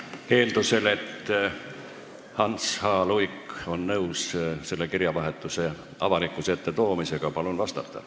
Eeldusel, et Hans H. Luik on nõus selle kirjavahetuse avalikkuse ette toomisega, palun vastata.